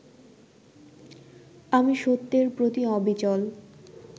আমি সত্যের প্রতি অবিচল